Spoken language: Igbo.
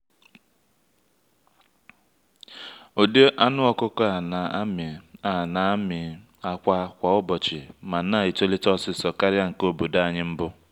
ụdị anụ ọkụkọ a na-amị a na-amị akwa kwa ụbọchị ma na-etolite osisor karịa nke obodo anyị mbụ.